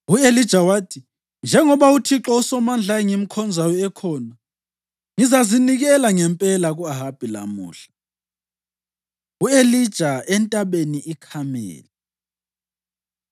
U-Elija wathi, “Njengoba uThixo uSomandla engimkhonzayo ekhona, ngizazinikela ngempela ku-Ahabi lamuhla.” U-Elija Entabeni IKhameli